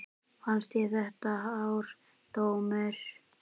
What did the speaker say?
Fannst þér þetta hár dómur?